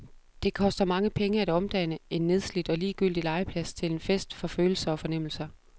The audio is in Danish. Det koster mange penge at omdanne en nedslidt og ligegyldig legeplads til en fest for følelser og fornemmelser.